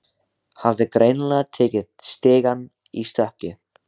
Hafði greinilega tekið stigann í stökki.